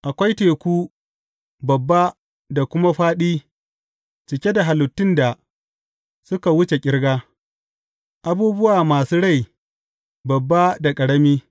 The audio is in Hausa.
Akwai teku, babba da kuma fāɗi, cike da halittun da suka wuce ƙirga, abubuwa masu rai babba da ƙarami.